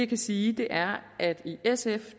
kan sige er at i sf